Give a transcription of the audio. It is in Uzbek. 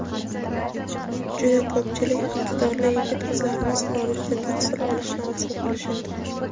Juda ko‘pchilik iqtidorli yigit-qizlarimiz xorijda tahsil olishni orzu qilishadi.